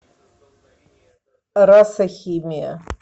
раса химия